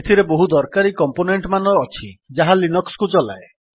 ଏଥିରେ ବହୁ ଦରକାରୀ କମ୍ପୋନେଣ୍ଟମାନ ଅଛି ଯାହା ଲିନକ୍ସ୍ କୁ ଚଲାଏ